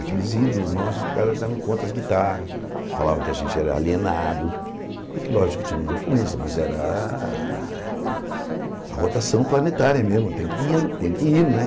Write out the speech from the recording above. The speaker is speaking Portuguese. Aqueles ídolos nossos, os caras estavam com outra as guitarras, falavam que a gente era alienado, porque, lógico, que tinha uma influência, mas era a rotação planetária mesmo, tem que tem que ir, né?